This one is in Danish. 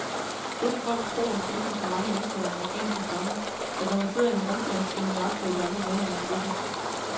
Dette folk tror, ligesom så mange indfødte amerikanske stammer, at når man sidder i en rundkreds, skal man iagttage de andre medlemmer af gruppen.